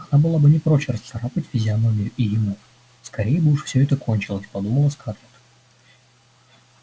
она была бы не прочь расцарапать физиономию и ему скорей бы уж всё это кончилось подумала скарлетт